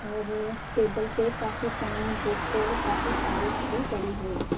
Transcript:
और टेबल पे काफी पेन बुक और काफी फाइल्स भी पड़ी हुई--